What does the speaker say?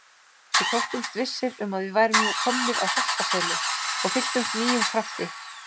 Við þóttumst vissir um að við værum nú komnir að Holtaseli og fylltumst nýjum krafti.